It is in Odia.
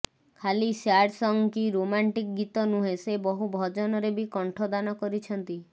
ଖାଲି ସ୍ୟାଡ୍ ସଙ୍ଗ୍ କି ରୋମାଣ୍ଟିକ ଗୀତ ନୁହେଁ ସେ ବହୁ ଭଜନରେ ବି କଣ୍ଠଦାନ କରିଛନ୍ତି